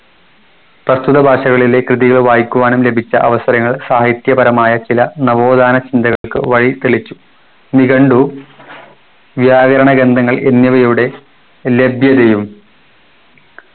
പ്രസ്തുത ഭാഷകളിലെ കൃതികൾ വായിക്കുവാനും ലഭിച്ച അവസരങ്ങൾ സാഹിത്യപരമായ ചില നവോത്ഥാന ചിന്തകൾക്ക് വഴിതെളിച്ചു നിഘണ്ടു വ്യാകരണ ഗ്രന്ഥങ്ങൾ എന്നിവയുടെ ലഭ്യതയും